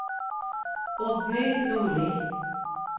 Oddny Nordli